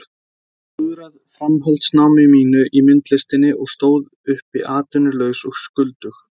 Ég hafði klúðrað framhaldsnámi mínu í myndlistinni og stóð uppi atvinnulaus og skuldug.